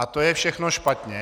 A to je všechno špatně.